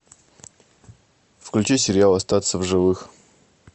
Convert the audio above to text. включи сериал остаться в живых